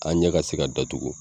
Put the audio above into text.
An ɲɛ ka se ka datugu